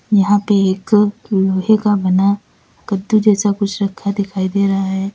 यहां पे एक लोहे का बना कद्दू जैसा कुछ रखा दिखाई दे रहा है।